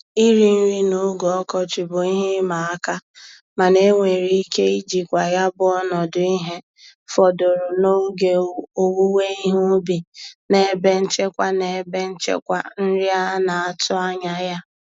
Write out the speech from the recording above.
Iri nri n'oge ọkọchị bụ ihe ịma aka mana enwere ike ijikwa ya bụ ọnọdụ ihe fọdụrụ n'oge owuwe ihe ubi na ebe nchekwa na ebe nchekwa nri a na-atụ anya ya.